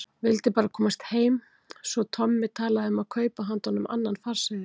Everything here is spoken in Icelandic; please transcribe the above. Vildi bara komast heim, svo Tommi talaði um að kaupa handa honum annan farseðil.